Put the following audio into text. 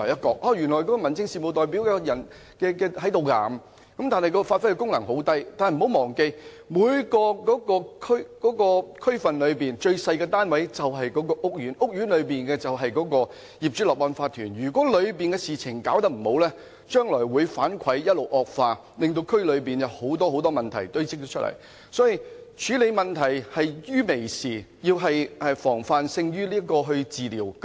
這樣，他們所能發揮的功能便很小；但不要忘記，每個區裏最小的單位便是屋苑，管理屋苑的便是業主立案法團，如果當中的事情做得不好，將來會一直惡化，令區內堆積很多問題。所以，我們要於問題還屬輕微時作出處理，防範勝於治療。